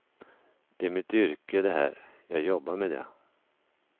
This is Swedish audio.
Det är mitt yrke det här, jag jobbar med det.